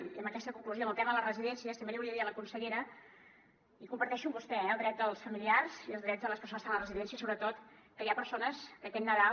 i amb aquesta conclusió al tema de les residències també li volia dir a la consellera i comparteixo amb vostè eh el dret dels familiars i els drets de les persones que estan a la residència sobretot que hi ha persones que aquest nadal